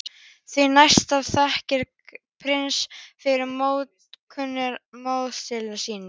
Því næst þakkaði prinsinn fyrir móttökurnar á móðurmáli sínu.